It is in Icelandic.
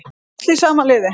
Öll í sama liði